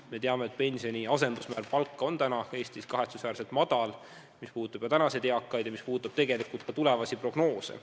Me teame, et pensioni asendusmäär on Eestis kahetsusväärselt madal, see puudutab tänaseid eakaid ja tegelikult ka tulevasi pensionäre.